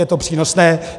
Je to přínosné.